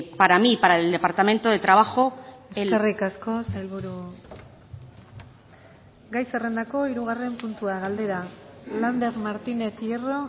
para mí para el departamento de trabajo eskerrik asko sailburu gai zerrendako hirugarren puntua galdera lander martínez hierro